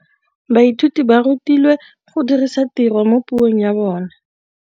Baithuti ba rutilwe go dirisa tirwa mo puong ya bone.